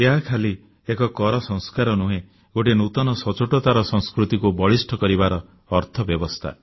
ଏହା ଖାଲି ଏକ କର ସଂସ୍କାର ନୁହେଁ ଗୋଟିଏ ନୂତନ ସଚ୍ଚୋଟତାର ସଂସ୍କୃତିକୁ ବଳିଷ୍ଠ କରିବାର ଅର୍ଥବ୍ୟବସ୍ଥା